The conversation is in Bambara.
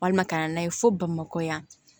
Walima ka na n'a ye fo bamakɔ yan